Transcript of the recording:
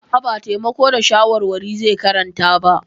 A'a, ba taimako da shawarwari zai karanta ba.